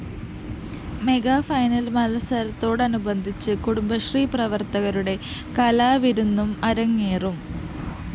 mega final‍ മത്സരത്തോടനുബന്ധിച്ച് കുടുംബശ്രീ പ്രവര്‍ത്തകരുടെ കലാവിരുന്നും അരങ്ങേറും